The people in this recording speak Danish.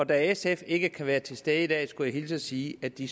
da sf ikke kan være til stede i dag skal jeg hilse og sige at de